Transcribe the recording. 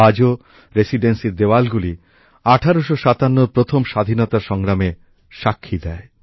আজও রেসিডেন্সীর দেওয়ালগুলি ১৮৫৭ এর প্রথম স্বাধীনতা সংগ্রামে সাক্ষী দেয়